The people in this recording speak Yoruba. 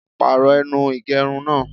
Pàrọ̀ ẹnu ìgẹrun náà!